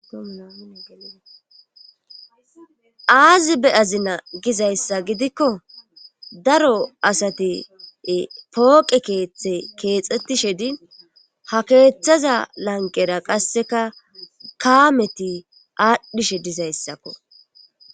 aazi be7 azina gizayssa gidikko daro asati pooqe keeththe keexxettishe di ha keeththaza lanqera qasseka kaameti aadhdhishe dizayssakko